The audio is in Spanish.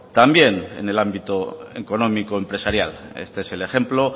también en el ámbito económico empresarial este es el ejemplo